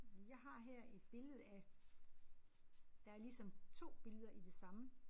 Jeg har her et billede af der er ligesom 2 billeder i det samme